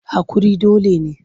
Haƙuri dole ne.